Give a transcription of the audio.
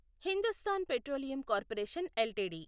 Hindustan Petroleum Corporation LTD